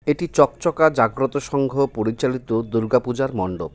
এটি চকচকা জাগ্রত সংঘ পরিচালিত দূর্গা পূজার মন্ডপ.